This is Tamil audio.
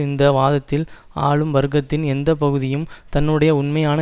இந்த வாதத்தில் ஆளும் வர்க்கத்தின் எந்த பகுதியும் தன்னுடைய உண்மையான